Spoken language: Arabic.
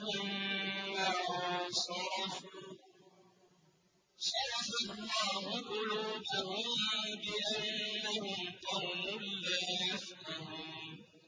ثُمَّ انصَرَفُوا ۚ صَرَفَ اللَّهُ قُلُوبَهُم بِأَنَّهُمْ قَوْمٌ لَّا يَفْقَهُونَ